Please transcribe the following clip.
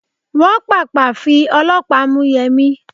Wọ́n Pàpà fi ọlọ́pàá mú Yẹmi.